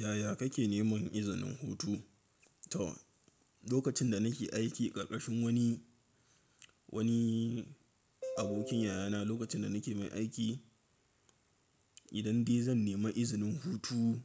Yaya kake neman izinin hutu? To, lokacin da nake aiki ƙarƙashin wani, wani abokin yayana lokacin da nake mai aiki, idan dai zan nemi izinin hutu,